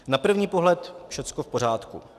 Na první pohled všechno v pořádku.